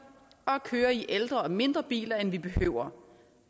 og at køre i ældre og mindre biler end vi behøver